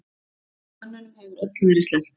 Mönnunum hefur öllum verið sleppt.